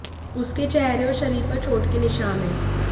उसके चेहरे और शरीर पर चोट के निशान हैं